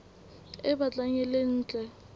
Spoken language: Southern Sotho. e batlang e le ntle